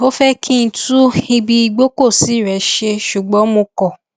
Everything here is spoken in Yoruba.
ó fẹ kí n tún ibi ìgbọkọsí rẹ ṣe ṣùgbọn mo kọ